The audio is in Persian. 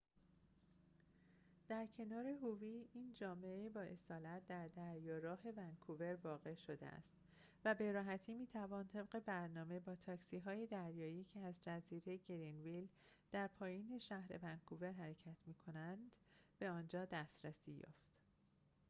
این جامعه بااصالت در دریاراه howe در کنار ونکوور واقع شده است و به‌راحتی می‌توان طبق برنامه با تاکسی‌های دریایی که از جزیره گرنویل در پایین شهر ونکوور حرکت می‌کنند به آنجا دسترسی یافت